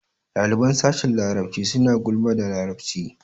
Ɗaliban sashin larabci suna gulman da larabci.